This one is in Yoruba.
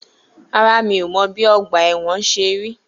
Rárá, mi o mọ̀ bí ọgbà ẹ̀wọ̀n ṣe rí.